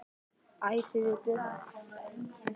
Æ, þið vitið.